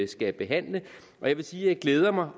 skal behandle og jeg vil sige at jeg glæder mig